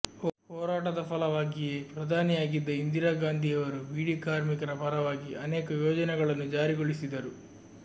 ಹೋರಾಟದ ಫಲವಾಗಿಯೇ ಪ್ರಧಾನಿಯಾಗಿದ್ದ ಇಂದಿರಾ ಗಾಂಧಿಯವರು ಬೀಡಿ ಕಾರ್ಮಿಕರ ಪರವಾಗಿ ಅನೇಕ ಯೋಜನೆಗಳನ್ನು ಜಾರಿಗೊಳಿಸಿದ್ದರು